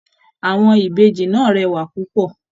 Àwọn Ìbejì náà rẹwa púpọ.